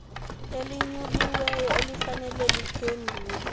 elinyuliweyo elifanele liphendule